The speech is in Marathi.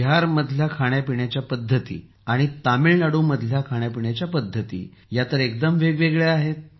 बिहारमधील खाण्यापिण्याच्या पद्धती आणि तामिळनाडूमधील खाण्यापिण्याच्या पद्धती एकदम वेगवेगळ्या आहेत